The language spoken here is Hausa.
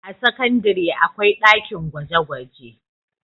a sakandare akwai ɗakin gwaje gwaje